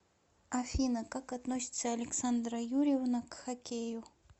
афина как относится александра юрьевна к хоккею